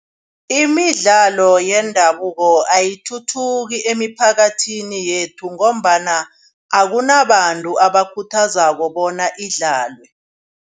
Imidlalo yendabuko ayithuthuki emiphakathini yethu ngombana akunabantu abakhuthazako bona idlalwe.